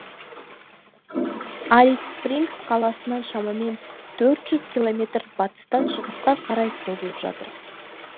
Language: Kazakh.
алис спрингс қаласынан шамамен төрт жүз километр батыстан шығысқа қарай созылып жатыр